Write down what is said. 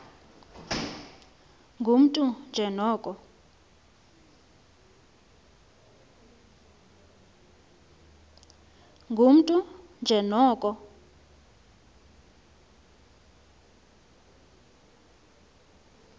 ngumntu nje noko